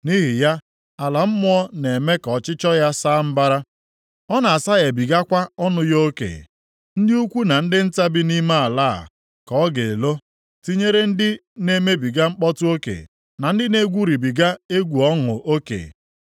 Nʼihi ya, ala mmụọ na-eme ka ọchịchọ ya saa mbara, ọ na-asaghebigakwa ọnụ ya oke; ndị ukwu na ndị nta bi nʼime ala a ka ọ ga-elo, tinyere ndị na-emebiga mkpọtụ oke, na ndị na-egwuribiga egwu ọṅụ oke.